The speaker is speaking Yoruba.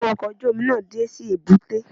Àwọn ọkọ̀ ojú-mi máa dé sí èbúté